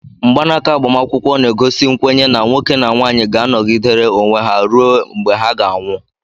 Mgbanaka agbamakwụkwọ na-egosi nkwenye na nwoke na nwanyị ga anogidere onwe ha rue mgbe ha ga anwụ.